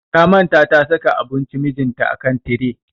Ta manta ta saka abunci mijinta a kan tire.